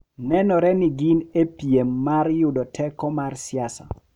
Nenore ni gin e piem mar yudo teko mar siasa,